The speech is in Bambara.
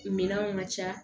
Minɛnw ka ca